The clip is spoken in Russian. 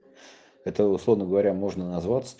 это условно говоря можно назать